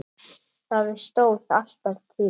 Það stóð alltaf til.